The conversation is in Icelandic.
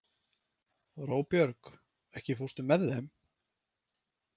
Róbjörg, ekki fórstu með þeim?